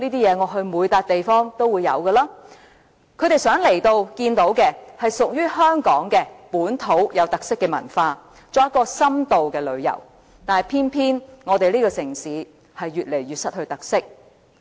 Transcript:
遊客來到香港想看到的是屬於香港本土有特色的文化，作深度旅遊，但偏偏這個城市越來越失去特色。